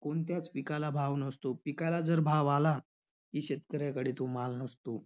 कोणत्याच पिकाला भाव नसतो. पिकाला जर भाव आला की, शेतकऱ्याकडे तो माल नसतो.